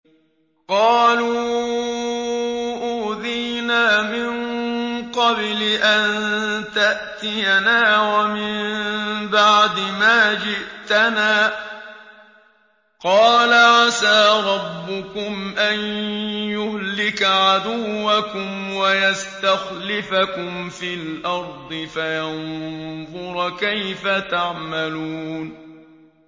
قَالُوا أُوذِينَا مِن قَبْلِ أَن تَأْتِيَنَا وَمِن بَعْدِ مَا جِئْتَنَا ۚ قَالَ عَسَىٰ رَبُّكُمْ أَن يُهْلِكَ عَدُوَّكُمْ وَيَسْتَخْلِفَكُمْ فِي الْأَرْضِ فَيَنظُرَ كَيْفَ تَعْمَلُونَ